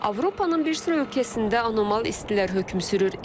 Avropanın bir sıra ölkəsində anomal istilər hökm sürür.